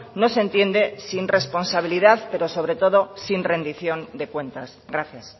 no se entiende sin responsabilidad pero sobre todo sin rendición de cuentas gracias